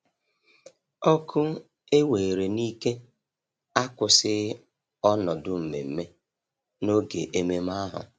Ọkụ ewere n'ike akwụsịghị ọnọdụ mmemme n'oge ememe ahụ.